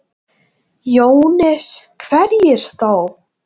Jóhannes: Hverjir þá?